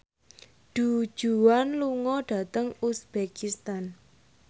Du Juan lunga dhateng uzbekistan